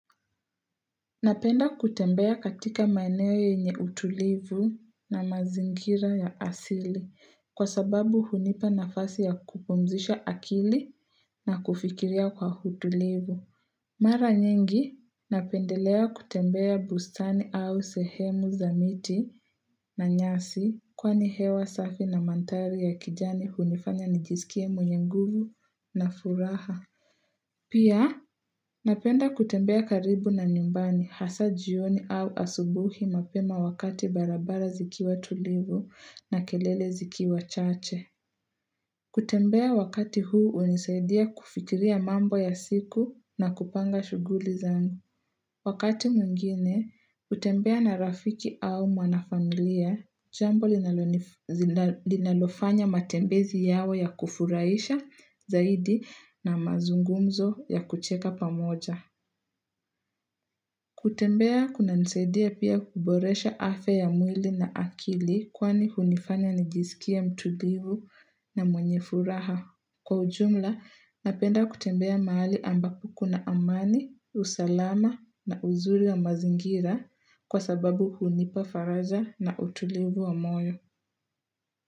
Napenda kutembea katika maeneo yenye utulivu na mazingira ya asili kwa sababu hunipa nafasi ya kupumzisha akili na kufikiria kwa utulivu. Mara nyingi, napendelea kutembea bustani au sehemu za miti na nyasi kwani hewa safi na mandhari ya kijani hunifanya nijisikie mwenye nguvu na furaha. Pia, napenda kutembea karibu na nyumbani hasa jioni au asubuhi mapema wakati barabara zikiwa tulivu na kelele zikiwa chache. Kutembea wakati huu hunisaidia kufikiria mambo ya siku na kupanga shughuli zangu. Wakati mwngine, hutembea na rafiki au mwanafamilia, jambo linalofanya matembezi yawe ya kufurahisha zaidi na mazungumzo ya kucheka pamoja. Kutembea kunanisaidia pia kuboresha afya ya mwili na akili kwani hunifanya nijisikie mtulivu na mwenye furaha. Kwa ujumla, napenda kutembea mahali ambapo kuna amani, usalama na uzuri wa mazingira kwa sababu hunipa faraja na utulivu wa moyo.